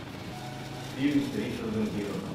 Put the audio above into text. фильм с ричардом гиром